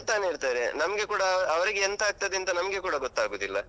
ಅಳ್ತಾನೆ ಇರ್ತಾರೆ. ನಮ್ಗೆ ಕೂಡ ಅವರಿಗೆಂತಾಗ್ತದೆ ಅಂತ ನಮ್ಗೆ ಕೂಡ ಗೊತ್ತಾಗುದಿಲ್ಲ.